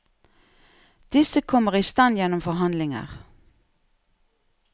Disse kommer i stand gjennom forhandlinger.